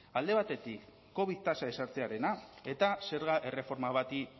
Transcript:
alde batetik covid tasa ezartzea eta zerga erreforma bati